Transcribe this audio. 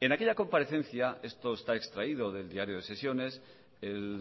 en aquella comparecencia esto está extraído del diario de sesiones el